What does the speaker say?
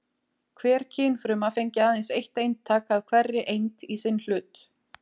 Hver kynfruma fengi aðeins eitt eintak af hverri eind í sinn hlut.